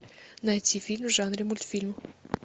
найти фильм в жанре мультфильм